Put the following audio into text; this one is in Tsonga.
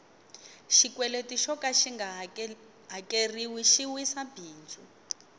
xikweleti xoka xinga hakeriwi xi wisa bindzu